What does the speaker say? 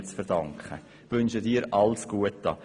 Herzlichen Dank, wir wünschen dir alles Gute.